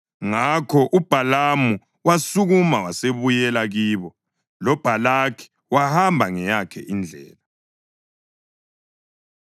Ngakho uBhalamu wasukuma wasebuyela kibo loBhalaki wahamba ngeyakhe indlela.